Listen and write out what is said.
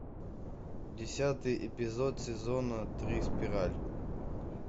десятый эпизод сезона три спираль